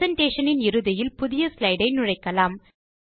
presentation இன் இறுதியில் புதிய ஸ்லைடை நுழைக்கலாம்